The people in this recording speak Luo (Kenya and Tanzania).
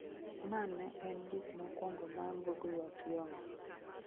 ma ne en buk mokuongo ma Ngugi wa Thiongo